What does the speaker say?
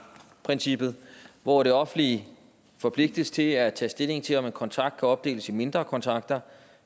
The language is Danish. princippet hvor det offentlige forpligtes til at tage stilling til om en kontrakt kan opdeles i mindre kontrakter